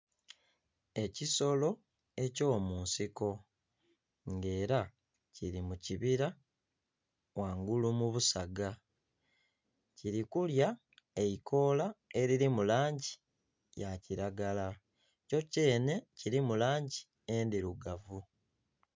Ekisolo ekyo munsiko nga era kiri mukibira wangulu mu busaaga. Kiri kulya eikoola eliri mulangi ya kilagala. Kyokyene kirimu langi endirugavu